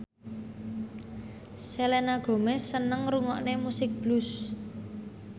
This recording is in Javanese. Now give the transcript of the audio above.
Selena Gomez seneng ngrungokne musik blues